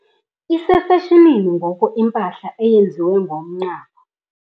Isefashonini ngoku impahala eyenziwe ngomqhaphu.